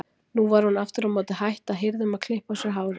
Nú var hún aftur á móti hætt að hirða um að klippa á sér hárið.